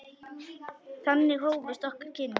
Þannig hófust okkar kynni.